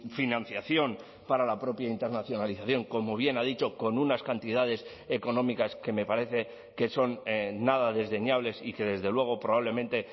financiación para la propia internacionalización como bien ha dicho con unas cantidades económicas que me parece que son nada desdeñables y que desde luego probablemente